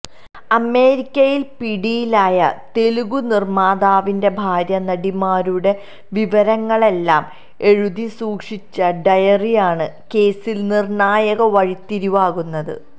അമേരിക്കയില് പിടിയിലായ തെലുഗ് നിര്മ്മാതാവിന്റെ ഭാര്യ നടിമാരുടെ വിവരങ്ങളെല്ലാം എഴുതി സൂക്ഷിച്ച ഡയറിയാണ് കേസില് നിര്ണായക വഴിത്തിരിവാകുന്നത്